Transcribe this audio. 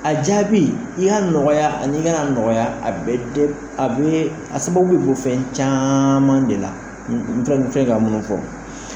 A jaabi i y'a nɔgɔya ani i kan'a nɔgɔya, a bɛɛ de, a sababu bɛ bɔ fɛn caman de la n fila ka mun fɔ